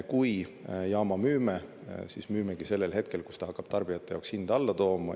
Kui jaama müüme, siis müüme sellel hetkel, kui ta hakkab tarbijate jaoks hinda alla tooma.